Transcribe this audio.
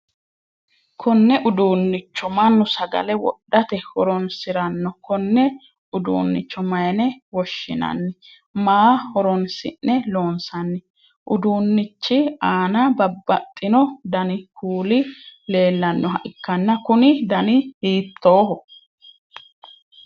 Konne uduunnicho Manu sagale wodhate horoonsirano konne uduunnicho mayine woshinnanni? Maa horoonsi'ne loonsanni? Uduunnichi aanna babbaxino danni kuuli leellanoha ikanna kunni danni hiittooho?